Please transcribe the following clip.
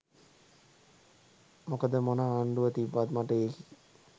මොකද මොන ආණ්ඩුව තිබ්බත් මට එකී.